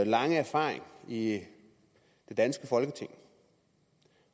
lange erfaring i det danske folketing